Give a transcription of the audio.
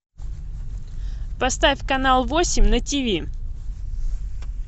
поставь канал восемь на тв